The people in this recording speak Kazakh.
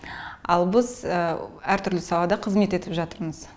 ал біз әртүрлі салада қызмет етіп жатырмыз